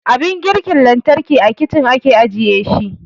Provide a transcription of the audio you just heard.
Abin girki lantarki a kicin ake ajiye shi